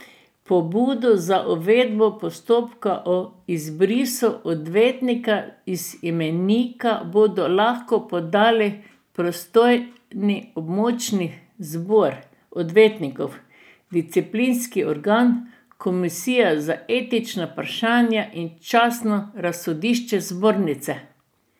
Pobudo za uvedbo postopka o izbrisu odvetnika iz imenika bodo lahko podali pristojni območni zbor odvetnikov, disciplinski organ, komisija za etična vprašanja in častno razsodišče zbornice.